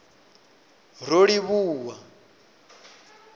rolivhuwa